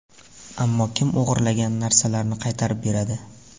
Ammo kim o‘g‘irlangan narsalarni qaytarib beradi?